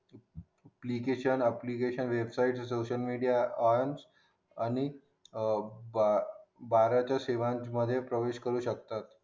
लिकेचंन आपली education website आणि social media arms आणि बाराच्या सेवांशमध्ये प्रवेश करू शकतात